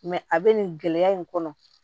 a bɛ nin gɛlɛya in kɔnɔ